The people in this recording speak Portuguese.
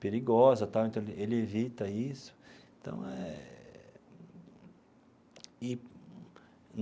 perigosa tal então ele ele evita isso então é e.